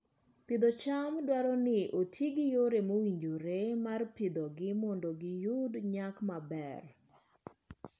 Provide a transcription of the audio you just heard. Pith cham dwaro ni oti gi yore mowinjore mar pidhogi mondo giyud nyak maber.